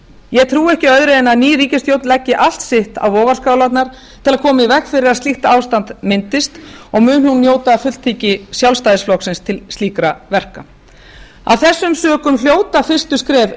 ég trúi ekki öðru en að ný ríkisstjórn leggi allt sitt á vogarskálarnar til að koma í veg fyrir að slíkt ástand myndist og mun njóta fulltingis sjálfstæðisflokksins til slíkra verka af þessum sökum hljóta fyrstu skref